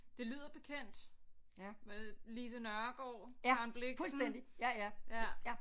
Det lyder bekendt med Lise Nørgaard Karen Blixen ja